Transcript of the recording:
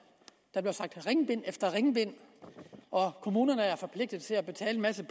der blev sagt ringbind efter ringbind og at kommunerne er forpligtet til at betale en masse